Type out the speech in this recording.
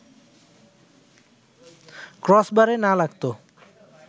ক্রসবারে না লাগতো